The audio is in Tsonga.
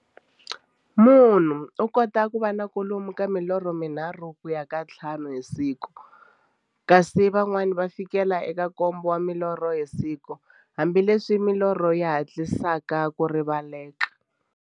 Munhu u kota ku va na kwalomu ka milorho mi nharhu ku ya ka ya nthlanu hi siku, kasi van'wana ku fikela eka nkombo wa milorho hi siku, hambileswi milorho yi hatlisaka ku rivaleka.